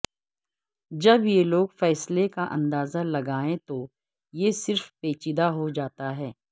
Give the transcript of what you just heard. جب یہ لوگ فیصلے کا اندازہ لگائیں تو یہ صرف پیچیدہ ہو جاتا ہے